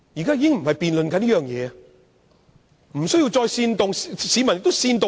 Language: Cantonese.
建制派議員無須再作煽動，市民亦不會被煽動。